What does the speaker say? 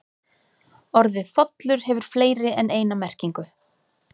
Orðið þollur hefur fleiri en eina merkingu.